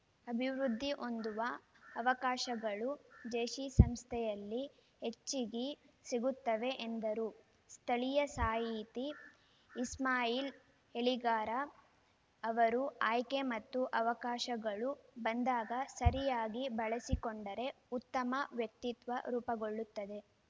ಅಭಿವೃದ್ಧಿ ಹೊಂದುವ ಅವಕಾಶಗಳು ಜೇಸಿ ಸಂಸ್ಥೆಯಲ್ಲಿ ಹೆಚ್ಚಿಗಿ ಸಿಗುತ್ತವೆ ಎಂದರು ಸ್ಥಳೀಯ ಸಾಹಿತಿ ಇಸ್ಮಾಯಿಲ್‌ ಎಲಿಗಾರ ಅವರು ಆಯ್ಕೆ ಮತ್ತು ಅವಕಾಶಗಳು ಬಂದಾಗ ಸರಿಯಾಗಿ ಬಳಸಿಕೊಂಡರೆ ಉತ್ತಮ ವ್ಯಕ್ತಿತ್ವ ರೂಪುಗೊಳ್ಳುತ್ತದೆ